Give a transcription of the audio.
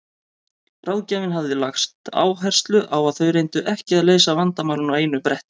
Ráðgjafinn hafði lagt áherslu á að þau reyndu ekki að leysa vandamálin á einu bretti.